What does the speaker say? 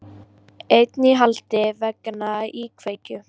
Einn í haldi vegna íkveikju